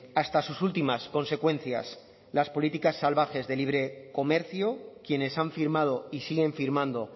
hasta sus últimas consecuencias las políticas salvajes de libre comercio quienes han firmado y siguen firmando